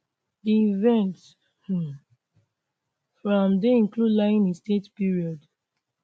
di events um for am dey include lying in state period